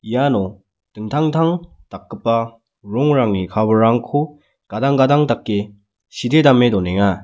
iano dingtang intang dakgipa rongrangni cover-rangko gadang gadang dake sitedame donenga.